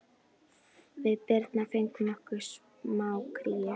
Við Birna fengum okkur smá kríu.